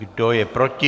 Kdo je proti?